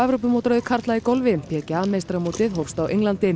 Evrópumótaröð karla í golfi meistaramótið hófst á Englandi